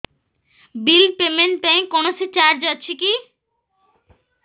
bill payment ପାଇଁ କୌଣସି charge ଅଛି କି